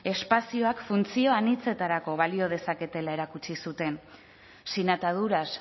espazioak funtzio anitzetarako balio dezaketela erakutsi zuten sin ataduras